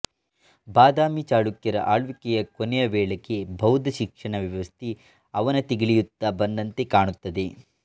ಬಾದಾಮಿ ಚಳುಕ್ಯರ ಆಳ್ವಿಕೆಯ ಕೊನೆಯ ವೇಳೆಗೆ ಬೌದ್ಧ ಶಿಕ್ಷಣ ವ್ಯವಸ್ಥೆ ಅವನತಿಗಿಳಿಯುತ್ತ ಬಂದಂತೆ ಕಾಣುತ್ತದೆ